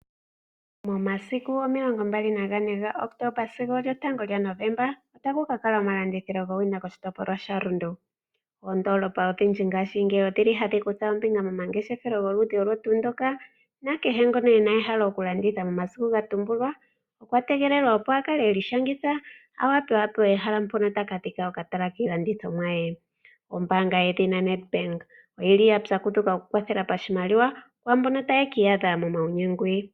Momasiku omilongo mbali na ga ne ga kotoba sigo esiku lyotango lya novomba ota ku ka kala oma landilithilo gowina koshitopolwa sha Rundu. Oondoolopa odhindji ngaashingeyi odhili ha dhi kutha ombinga momangeshefelo goludhi ndoka nakehe ngono ena ehalalo lyoku landitha momasiku ga tumbulwa, okwa tegelelwa opo akale iishangitha opo akale apewa oka tala mpoka ta ka landitha iilandithomwa ye. Ombaanga yedhina Nadbank oyi li ya pyakudhukwa oku kwathela oshi maliwa kwaamboka ta ye ki iyadha momaunyengwi.